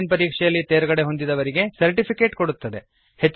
on line ಪರೀಕ್ಷೆಯಲ್ಲಿ ತೇರ್ಗಡೆಹೊಂದಿದವರಿಗೆ certificate ಕೊಡುತ್ತದೆ